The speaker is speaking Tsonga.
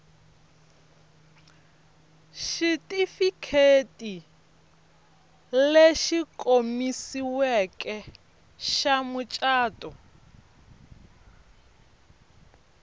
xitifiketi lexi komisiweke xa mucato